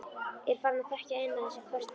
Er farin að þekkja inn á þessi köst hennar.